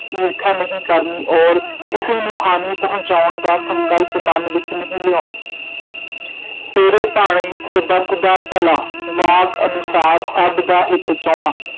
ਈਰਖਾ ਨਹੀਂ ਕਰਣੀ, ਔਰ ਕਿਸੇ ਨੂੰ ਹਾਨੀ ਪਹੁੰਚਾਉਣ ਦਾ ਸੰਕਲਪ ਮਨ ਵਿਚ ਨਹੀਂ ਲਿਆਂਉਣਾ ਤੇਰੇ ਭਾਣੇ ਸਰਬੱਤ ਦਾ ਭਲਾ ਵਾਕ ਅਨੁਸਾਰ ਸਭਦਾ ਹਿਤ ਚਾਹੁਣਾ।